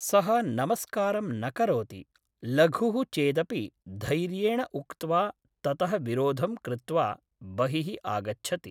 सः नमस्कारं न करोति लघुः चेदपि धैर्येण उक्त्वा ततः विरोधं कृत्वा बहिः आगच्छति